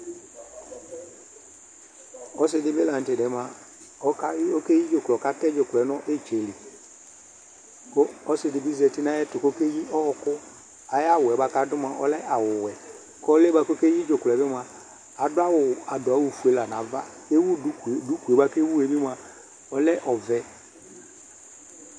Ɔsi di bi la 'tɛ diɛ mua oka oke yi dzuklɔ k'atɛ dzuklɔɛ nu itsɛ lɩ, ku ɔsi di bi zati n'ayɛ tu k'ɔkeyi ɔɔku Ay'awuɛ bua k'adu mua ɔlɛ awu wɛ, k'ɔlu'ɛ bua k'ɔke yi dzuklɔɛ bi mua adu awu adu awu fue la n'ava k'ewu duku, dukue bua ke wue bi mua ɔlɛ ɔʋɛ